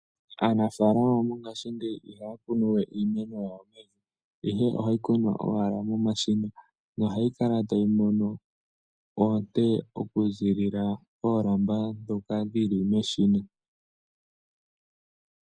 Aanafalama mongashingeyi ihaya kunu we iimeno yawo pevi ihe ohaya kunu momashina nohayi kala tayi mono oonte oku ziilila moolamba dhoka dhili meshina.